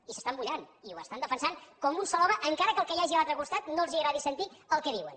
i s’estan mullant i ho estan defensant com un sol home encara que al que hi hagi a l’altre costat no li agradi sentir el que diuen